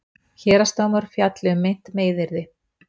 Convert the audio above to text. Héraðsdómur fjalli um meint meiðyrði